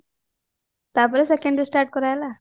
ତାପରେ second year start କରାଗଲା